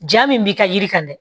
Ja min b'i ka yiri kan dɛ